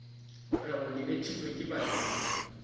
rego le betlilwe ke badimo